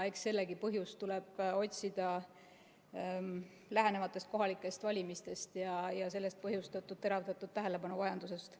Eks sellegi põhjust tuleb otsida lähenevatest kohalikest valimistest ja sellest põhjustatud teravnenud tähelepanuvajadusest.